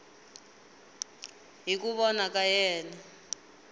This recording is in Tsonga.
hi ku vona ka yena